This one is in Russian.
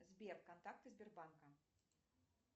сбер контакты сбербанка